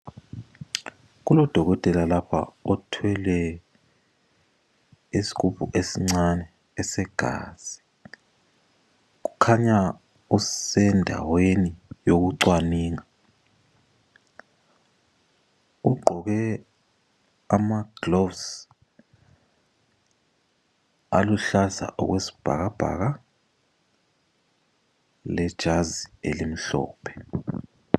Kulodokotela lapha othwele isigubhu esincane esegazi, ukhanya usendaweni yokucwaninga , ugqoke amaglovisi aluhlaza okwesibhakabhaka lejazi elimhlophe